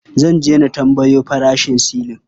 Zan je na tambayo farashin silin.